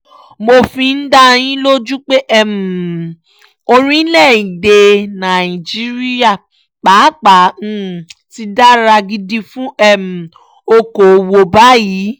mo fi ń dá yín lójú pé orílẹ̀-èdè nàìjíríà pàápàá ti dára gidi fún okòòwò báyìí